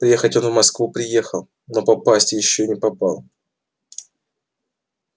приехать он в москву приехал но попасть ещё не попал